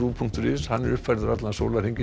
punktur is er uppfærður allan sólarhringinn